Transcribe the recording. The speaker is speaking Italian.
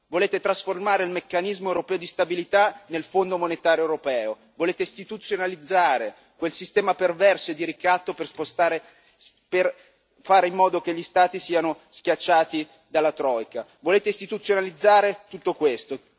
Volete trasformare il Meccanismo europeo di stabilità nel Fondo monetario europeo, volete istituzionalizzare quel sistema perverso e di ricatto per fare in modo che gli Stati siano schiacciati dalla Troika. Volete istituzionalizzare tutto questo.